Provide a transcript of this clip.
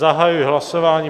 Zahajuji hlasování.